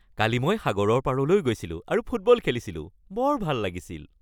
কালি মই সাগৰৰ পাৰলৈ গৈছিলো আৰু ফুটবল খেলিছিলোঁ। বৰ ভাল লাগিছিল।